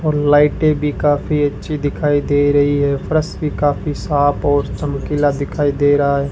और लाइटें भी काफी अच्छी दिखाई दे रही है फर्श भी काफी साफ और चमकीला दिखाई दे रहा है।